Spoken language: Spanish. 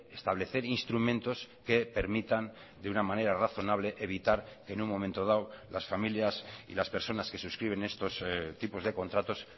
establecer instrumentos que permitan de una manera razonable evitar en un momento dado las familias y las personas que suscriben estos tipos de contratos